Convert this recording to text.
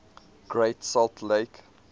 great salt lake